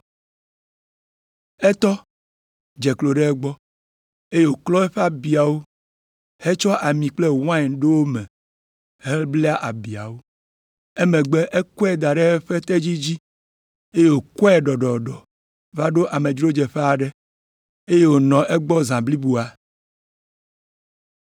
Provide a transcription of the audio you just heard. Etɔ, dze klo ɖe egbɔ, eye wòklɔ eƒe abiawo hetsɔ ami kple wain ɖo wo me hebla abiawo. Emegbe ekɔe da ɖe eƒe tedzi dzi, eye wòkplɔe ɖɔɖɔɖɔ va ɖo amedzrodzeƒe aɖe, eye wònɔ egbɔ zã bliboa.